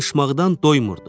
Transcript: Danışmaqdan doymurdu.